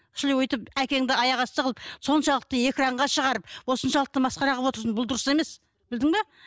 шіли өйтіп әкеңді аяқ асты қылып соншалықты экранға шығарып осыншалықты масқара қылып отырсың бұл дұрыс емес білдің бе